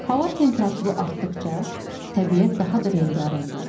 Hava temperaturu artdıqca, təbiət daha da rəngarəng olur.